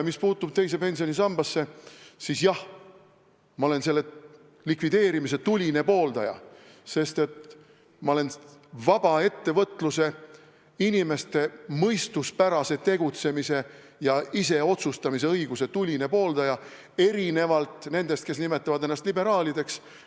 Mis puutub teise pensionisambasse, siis jah, ma olen selle likvideerimise tuline pooldaja, sest ma olen vaba ettevõtluse, inimeste mõistuspärase tegutsemise ja iseotsustamisõiguse tuline pooldaja, erinevalt nendest, kes nimetavad ennast liberaalideks.